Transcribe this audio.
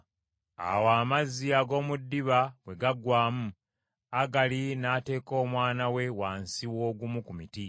Awo amazzi ag’omu ddiba bwe gaggwaamu, Agali n’ateeka omwana we wansi w’ogumu ku miti.